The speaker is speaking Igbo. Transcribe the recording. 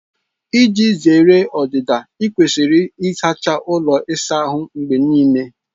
Iji zere ọdịda, ị kwesịrị ịsacha ụlọ ịsa ahụ mgbe niile